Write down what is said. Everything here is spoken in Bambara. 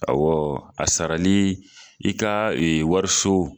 a sarali i ka wariso